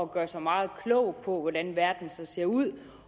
gøre sig meget klog på hvordan verden ser ud